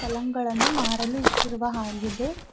ಪಾಲ್ಲಂಗ್ ಗಳನ್ನು ಮಾರಲು ಇಕ್ಕಿರುವ ಹಾಗಿದೆ.